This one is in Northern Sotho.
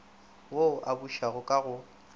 wo o bušago ka go